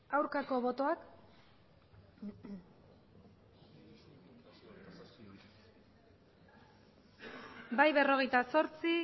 aurkako botoak bai berrogeita zortzi